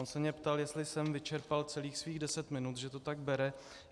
On se mě ptal, jestli jsem vyčerpal celých svých deset minut, že to tak bere.